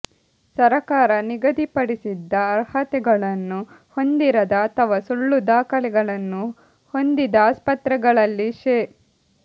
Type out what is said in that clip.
ಸರಕಾರ ನಿಗದಿಪಡಿಸಿದ್ದ ಅರ್ಹತೆಗಳನ್ನು ಹೊಂದಿರದ ಅಥವಾ ಸುಳ್ಳು ದಾಖಲೆಗಳನ್ನು ಹೊಂದಿದ ಆಸ್ಪತ್ರೆಗಳಲ್ಲಿ ಶೇ